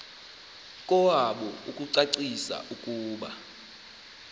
kowabo ukucacisa ukuba